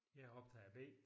Jeg optager B